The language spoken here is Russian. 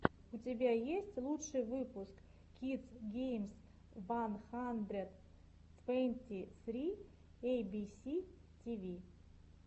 у тебя есть лучший выпуск кидс геймс ван хандрэд твэнти сри эйбиси тиви